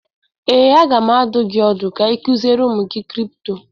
Ee, a ga m adụ gị ọdụ ka ị kuziere ụmụ gị kripto